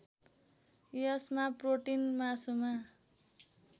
यसमा प्रोटीन मासुमा